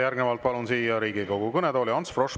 Järgnevalt palun siia Riigikogu kõnetooli Ants Froschi.